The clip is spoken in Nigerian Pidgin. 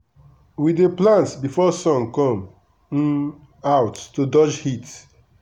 we dey plant before sun come um out to dodge heat.